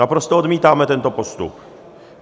Naprosto odmítáme tento postup.